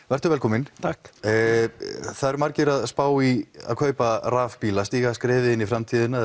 vertu velkominn það eru margir að spá í að kaupa rafbíla stíga skrefið inn í framtíðina